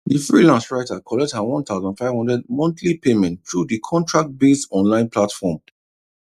the freelance writer collect her one thousand five hundred monthly payment through the contract based online platform